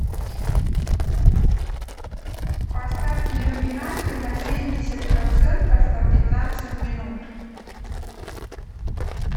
поставь иллюминацию на семьдесят процентов на пятнадцать минут